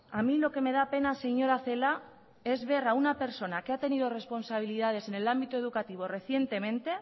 a mí lo que me da pena señora celaá es ver a una persona que ha tenido responsabilidades en el ámbito educativo recientemente